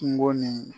Kungo nin